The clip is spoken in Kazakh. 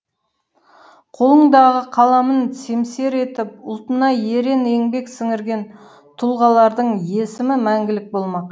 қолындағы қаламын семсер етіп ұлтына ерен еңбек сіңірген тұлғалардың есімі мәңгілік болмақ